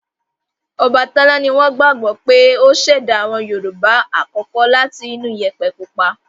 Ọbàtálá ni wọ́n gbagbọ pé ó ṣẹ̀dá àwọn Yorùbá àkọ́kọ́ láti inú Iyẹ̀pẹ̀ pupa